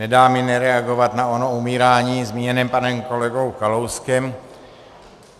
Nedá mi nereagovat na ono umírání zmíněné panem kolegou Kalouskem.